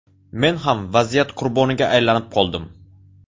Men ham vaziyat qurboniga aylanib qoldim.